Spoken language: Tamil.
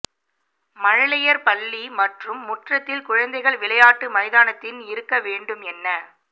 மழலையர் பள்ளி மற்றும் முற்றத்தில் குழந்தைகள் விளையாட்டு மைதானத்தின் இருக்க வேண்டும் என்ன